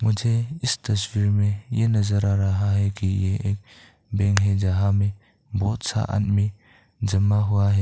मुझे इस तस्वीर में ये नजर आ रहा है कि यह एक बैंक है और यहां में बहोत सारा आदमी जमा हुआ है।